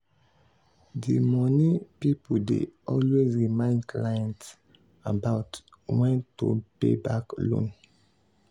di money people dey always remind clients about when to pay back loan.